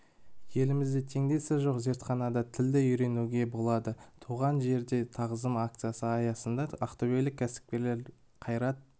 елімізде теңдесі жоқ зертханада тілді үйренуге болады туған жерге тағзым акциясы аясында ақтөбелік кәсіпкерлер қайрат